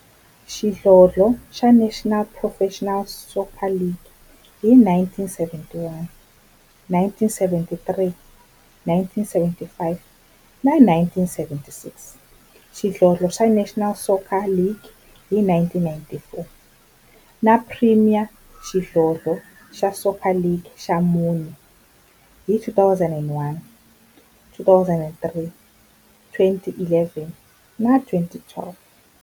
xidlodlo xa National Professional Soccer League hi 1971, 1973, 1975 na 1976, xidlodlo xa National Soccer League hi 1994, na Premier Xidlodlo xa Soccer League ka mune, hi 2001, 2003, 2011 na 2012.